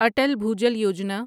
Atal Bhujal Yojana